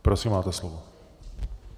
Prosím, máte slovo.